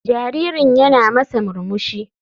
Jaririn yana masa murmushi.